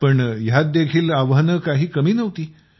पण ह्यांत देखील आव्हाने काही कमी नव्हती